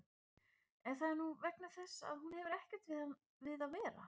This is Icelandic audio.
En það er nú vegna þess að hún hefur ekkert við að vera.